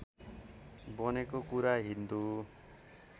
बनेको कुरा हिन्दू